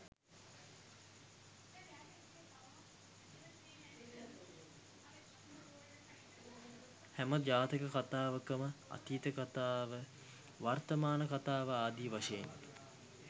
හැම ජාතක කථාවකම අතීත කථාව වර්තමාන කථාව ආදී වශයෙන්